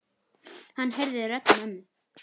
Hann heyrði rödd mömmu.